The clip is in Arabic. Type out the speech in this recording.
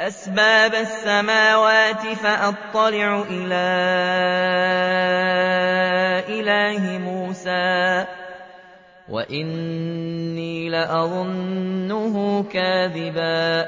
أَسْبَابَ السَّمَاوَاتِ فَأَطَّلِعَ إِلَىٰ إِلَٰهِ مُوسَىٰ وَإِنِّي لَأَظُنُّهُ كَاذِبًا ۚ